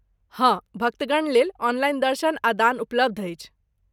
हँ, भक्तगण लेल ऑनलाइन दर्शन आ दान उपलब्ध अछि।